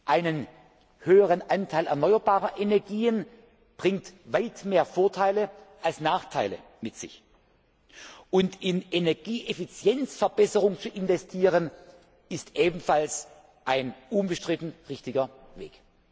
Ein höherer Anteil erneuerbarer Energien bringt weit mehr Vorteile als Nachteile mit sich. Und in Energieeffizienzverbesserung zu investieren, ist ebenfalls ein unbestritten richtiger Weg.